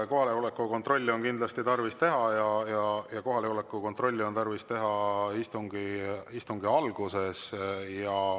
Kohaloleku kontrolli on kindlasti tarvis teha ja seda on tarvis teha istungi alguses.